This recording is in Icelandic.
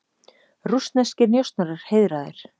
Rússneskir njósnarar heiðraðir